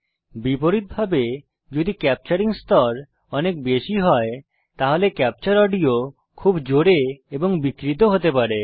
বিপরীতভাবে যদি ক্যাপচারিং স্তর অনেক বেশি হয় তাহলে ক্যাপচার অডিও খুব জোরে এবং বিকৃত হতে পারে